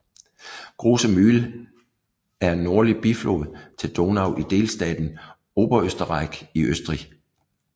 Große Mühl er en nordlig biflod til Donau i delstaten Oberösterreich i Østrig